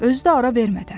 Özü də ara vermədən.